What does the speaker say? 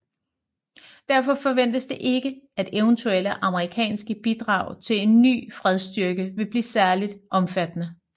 Derfor forventes det ikke at eventuelle amerikanske bidrag til en ny fredsstyrke vil blive særligt omfattende